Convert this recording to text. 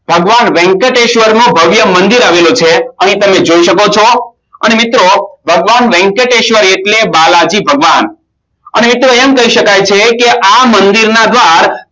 ભગવાન વેંકટેશ્વર માં ભવ્ય મંદિર આવેલું છે અને તમે જોય શકો છો અને મિત્રો ભગવાન વેંકટેશ્વર એટલે બાલાજી ભગવાન અને મિત્રો એમ કહી શકાય કે આ મંદિરના દ્વાર